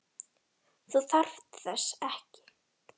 Þú þarft þess ekki.